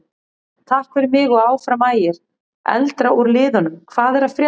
Takk fyrir mig og Áfram Ægir.Eldra úr liðnum Hvað er að frétta?